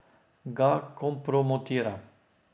Ga kompromitira.